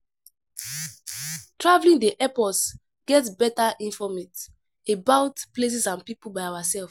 Travelling dey help us get better informate about places and people by ourself